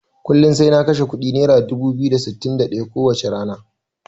Kullun sai na kashe kuɗi naira dubu biyu da sittin da ɗaya ko wacce rana.